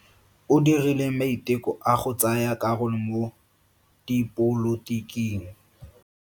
O dirile maiteko a go tsaya karolo mo dipolotiking.